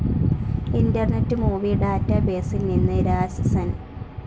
internet Movie ഡാറ്റാബേസിൽ നിന്ന് രാത്സസൻ